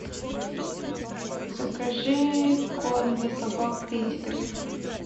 закажи корм для собак педигри